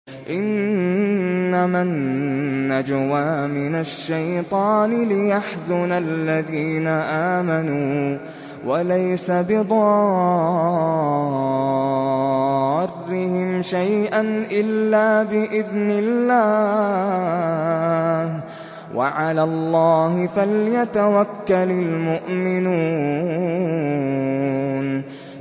إِنَّمَا النَّجْوَىٰ مِنَ الشَّيْطَانِ لِيَحْزُنَ الَّذِينَ آمَنُوا وَلَيْسَ بِضَارِّهِمْ شَيْئًا إِلَّا بِإِذْنِ اللَّهِ ۚ وَعَلَى اللَّهِ فَلْيَتَوَكَّلِ الْمُؤْمِنُونَ